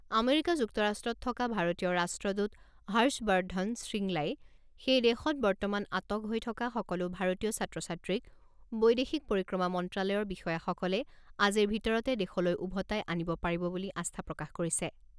America যুক্তৰাষ্ট্ৰত থকা ভাৰতীয় ৰাষ্ট্ৰদূত হৰ্ষবৰ্ধন শ্ৰীংলাই সেই দেশত বৰ্তমান আটক হৈ থকা সকলো ভাৰতীয় ছাত্ৰ ছাত্ৰীক বৈদেশিক পৰিক্ৰমা মন্ত্ৰালয়ৰ বিষয়াসকলে আজিৰ ভিতৰতে দেশলৈ ওভোতাই আনিব পাৰিব বুলি আস্থা প্ৰকাশ কৰিছে।